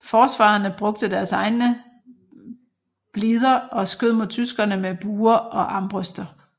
Forsvarerne brugte deres egne blider og skød mod tyskerne med buer og armbrøster